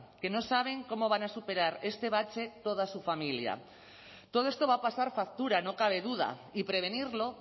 que no saben cómo van a superar este bache toda su familia todo esto va a pasar factura no cabe duda y prevenirlo